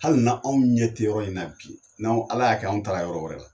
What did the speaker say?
Hali na anw ɲɛ tɛ yɔrɔ in na bi n'anw Ala y'a kɛ anw taara yɔrɔ wɛrɛ la,